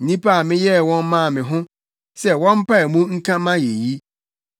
nnipa a meyɛɛ wɔn maa me ho sɛ wɔmpae mu nka mʼayeyi.